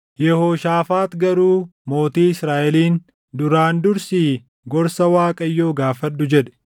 Yehooshaafaax garuu mootii Israaʼeliin, “Duraan dursii gorsa Waaqayyoo gaafadhu” jedhe.